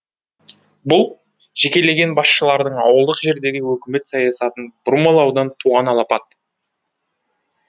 бұл жекелеген басшылардың ауылдық жердегі өкімет саясатын бұрмалаудан туған алапат